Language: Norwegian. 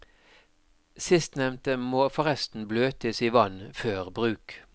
Sistnevnte må forresten bløtes i vann før bruk.